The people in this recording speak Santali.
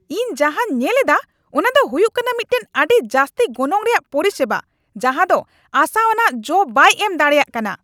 ᱤᱧ ᱡᱟᱦᱟᱸᱧ ᱧᱮᱞᱮᱫᱼᱟ ᱚᱱᱟ ᱫᱚ ᱦᱩᱭᱩᱜ ᱠᱟᱱᱟ ᱢᱤᱫᱴᱟᱝ ᱟᱹᱰᱤ ᱡᱟᱹᱥᱛᱤ ᱜᱚᱱᱚᱝ ᱨᱮᱭᱟᱜ ᱯᱚᱨᱤᱥᱮᱵᱟ ᱡᱟᱦᱟᱸ ᱫᱚ ᱟᱥᱟᱣᱟᱱᱟᱜ ᱡᱚ ᱵᱟᱭ ᱮᱢ ᱫᱟᱲᱮᱭᱟᱜ ᱠᱟᱱᱟ ᱾